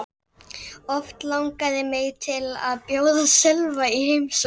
Oft langaði mig til að bjóða Sölva í heimsókn.